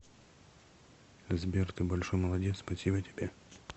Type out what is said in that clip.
сбер ты большой молодец спасибо тебе